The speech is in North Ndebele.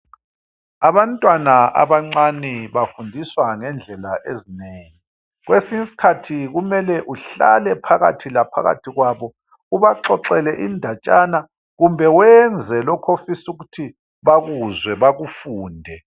Abantwana abancani bafundiswa ngendlela ezinengi, kwesinyiskhathi kumele uhlale phakathi laphakathi kwabo. Ubaxoxele indatshana. Kumbe wenze lokhofisukuthi bakuzwe bakufunde.